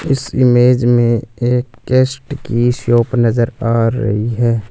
इस इमेज में एक केस्ट की शॉप नजर आ रही है।